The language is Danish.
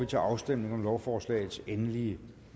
til afstemning om lovforslagets endelige